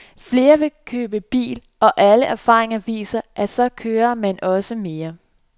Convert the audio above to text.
Flere vil købe bil, og alle erfaringer viser, at så kører man også mere.